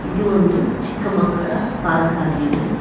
ಇದು ಒಂದು ಚಿಕ್ಕ ಮಕ್ಕಳ ಪಾರ್ಕ್ ಆಗಿದೆ.